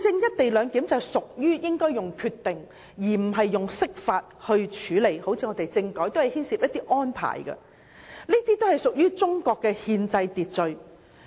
"一地兩檢"應該透過決定而非釋法處理，因為正如政改般，它也是牽涉一些安排，屬於中國的憲制秩序。